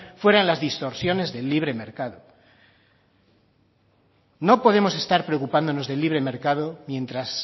fueran las distorsiones de libre mercado no podemos estar preocupándonos del libre mercado mientras